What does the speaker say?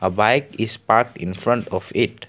a bike is parked in front of it.